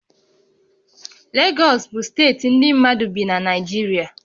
Legọs bụ steeti ndị mmadụ bi na Naịjirịa